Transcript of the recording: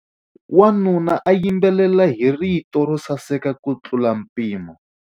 Wanuna u yimbelela hi rito ro saseka kutlula mpimo.